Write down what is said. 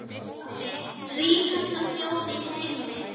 Ríkasta þjóð í heimi.